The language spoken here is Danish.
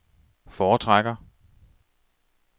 foretrækker